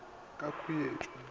ka no ba ka khwetšo